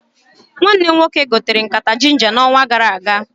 Nwanne m nwoke gotere nkata ginja na onwa gara aga